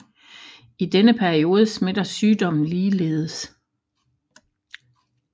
I denne periode smitter sygdommen ligeledes